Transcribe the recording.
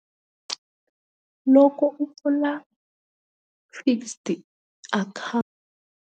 Loko u pfula fixed .